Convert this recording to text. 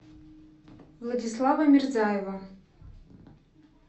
владислава мирзаева